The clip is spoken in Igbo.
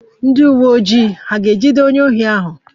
Ndị uwe ojii hà ga-ejide onye ohi ahụ?